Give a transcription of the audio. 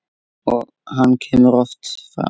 Og hann kemur oft fram.